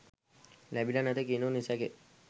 ලැබිලා නැත කියනු නිසැකය.